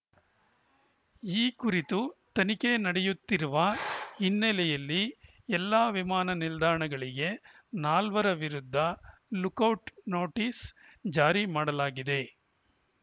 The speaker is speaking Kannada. ಈ ಕುರಿತು ತನಿಖೆ ನಡೆಯುತ್ತಿರುವ ಹಿನ್ನೆಲೆಯಲ್ಲಿ ಎಲ್ಲಾ ವಿಮಾನ ನಿಲ್ದಾಣಗಳಿಗೆ ನಾಲ್ವರ ವಿರುದ್ಧ ಲುಕೌಟ್‌ ನೋಟಿಸ್‌ ಜಾರಿ ಮಾಡಲಾಗಿದೆ